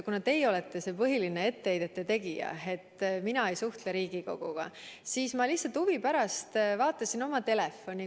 Kuna teie olete see põhiline etteheidete tegija, et mina ei suhtle Riigikoguga, siis ma lihtsalt huvi pärast vaatasin oma telefoni.